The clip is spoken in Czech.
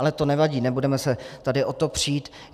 Ale to nevadí, nebudeme se tady o to přít.